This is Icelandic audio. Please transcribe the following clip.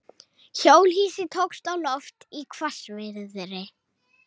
Hjólhýsi tókst á loft í hvassviðri